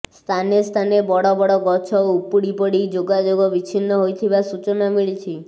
ସ୍ଥାନେସ୍ଥାନେ ବଡବଡ ଗଛ ଉପୁଡିପଡି ଯୋଗାଯୋଗ ବିଚ୍ଛିନ୍ନ ହୋଇଥିବା ସୂଚନା ମିଳିଛି